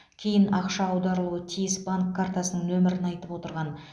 кейін ақша аударылуы тиіс банк картасының нөмірін айтып отырған